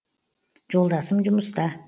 жолдасым жұмыста